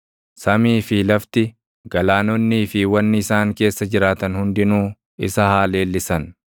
Samii fi lafti, galaanonnii fi wanni isaan keessa jiraatan hundinuu isa haa leellissan.